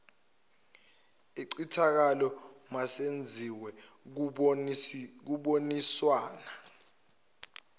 incithakalo masenziwe kuboniswana